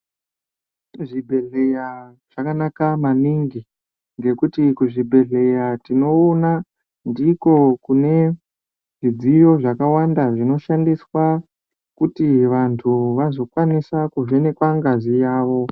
Kuzvibhedhleya zvakanaka maningi ngokuti kuzvibhedhleya tinoona ndiko kune zvidziyo zvakawanda zvinoshandiswa kuti vantu vazokwanisa kuvhenekwa ngazi yavo.